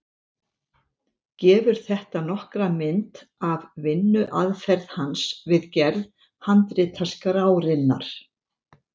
Gefur þetta nokkra mynd af vinnuaðferð hans við gerð handritaskrárinnar.